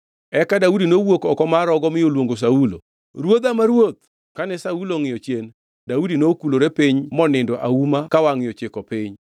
Eka Daudi nowuok oko mar rogo mi oluongo Saulo, “Ruodha ma ruoth!” Kane Saulo ongʼiyo chien, Daudi nokulore piny monindo auma ka wangʼe ochiko piny.